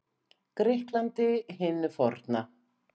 Grikklandi hinu forna.